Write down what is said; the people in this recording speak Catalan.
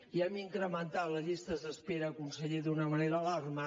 i hem incrementat les llistes d’espera conseller d’una manera alarmant